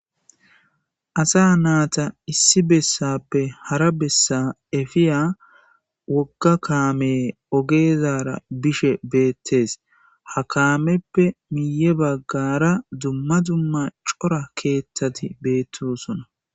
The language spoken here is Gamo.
Asa naata issi bessappe hara bessa efiya wogga kaame ogeezara bishe beettes ha kaameppe miye baggara dumma dumma cora keeththati beettosona